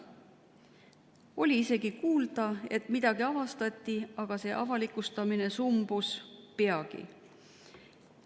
Oli isegi kuulda, et midagi avastati, aga see avalikustamine sumbus peagi.